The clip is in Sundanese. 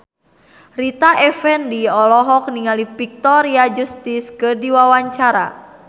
Rita Effendy olohok ningali Victoria Justice keur diwawancara